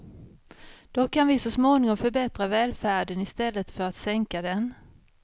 Då kan vi så småningom förbättra välfärden i stället för att sänka den.